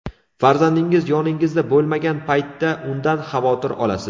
Farzandingiz yoningizda bo‘lmagan paytda undan xavotir olasiz.